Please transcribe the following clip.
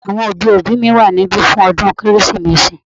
Àwọn òbí òbí mi wà níbí fún ọdún kérésìmesì